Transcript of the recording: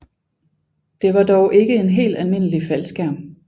Det var dog ikke en helt almindelig faldskærm